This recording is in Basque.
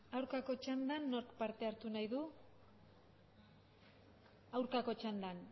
aurkako txandan nork parte hartu nahi du aurkako txandan